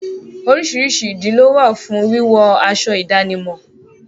Oríṣiríṣi ìdí lówà fún wíwọ aṣọ ìdánimọ̀.